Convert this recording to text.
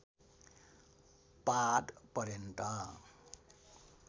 पाद पर्यन्त